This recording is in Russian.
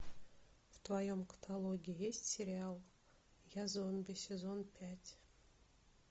в твоем каталоге есть сериал я зомби сезон пять